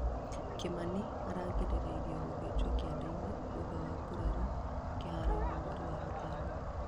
kimani araringĩrĩirio gũthĩnjwo kĩandeinĩ thutha wa kũgũrario kĩharoinĩ mweri wa gatano